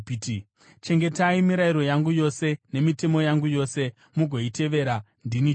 “ ‘Chengetai mirayiro yangu yose nemitemo yangu yose, mugoitevera. Ndini Jehovha.’ ”